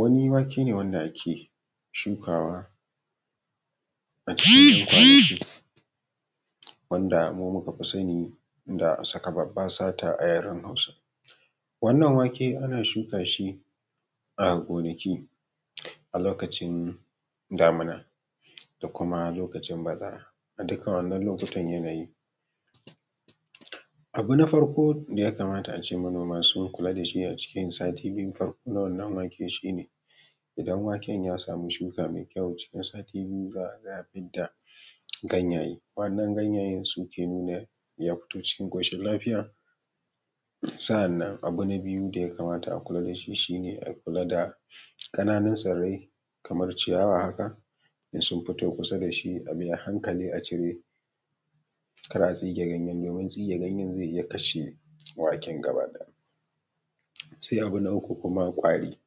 Wani wake ne wanda ake shukawa a cikin’yan kwanaki, wanda mu muka fi sani saka babba sata a yaran hausa. Wannan wake ana shuka shi a gonaki alokacin damina da kuma lokacin bazara, a dukka wannan lokutan yanayi. Abu na farko da yakamata ace manoman sun kula da shi a cikin sati biyu na wannan wake ne, idan waken ya samu shuka mai kyau cikin sati biyu za a gaya fidda ganyaye, waɗannan ganyayen suke nuna ya fito cikin ƙoshin lafiya. Sa’annan abu na biyu da ya kamata a kula dashi shi ne a kula da ƙananun tsirrai, kamar ciyawa haka, in sun fito kusa da shi, abi a hankali a cire kada a tsige ganyen, domin tsige ganyen zai iya kashi waken gaba ɗaya. Sai abu na uku kuma ƙwari,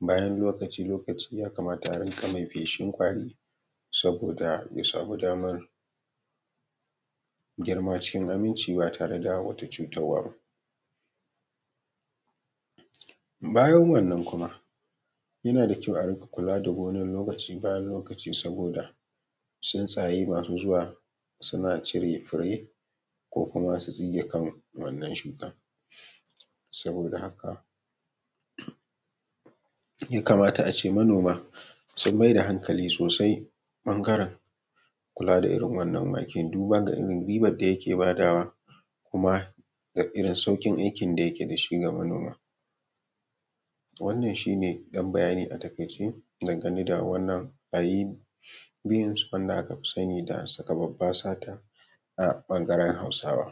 bayan lokaci lokaci ya kamata a rinƙa mai feshin ƙwari, saboda ya samu damar girma cikin aminci ba tare da wata cutarwa ba. Bayan wannan kuma, yana da kyau a rinƙa kula da gonar, lokaci bayan lokaci, saboda tsuntsaye masu zuwa suna cire fure ko kuma su tsige kan wannan shukan saboda haka ya kamata ace manoma sun maida hankali sosai ɓangaren kula da irin wannan waken duba ga irin ribar da yake badawa, kuma da irin sauƙin aikin da yake dashi ga manoma, wannan shine ɗan bayani a taƙaice dangane da wannan ayi beans wanda aka fi sani da saka babba sata a ɓangaren hausawa.